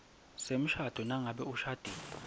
semshado nangabe ushadile